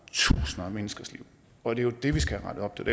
tusinder af menneskers liv og det er jo det vi skal have rettet op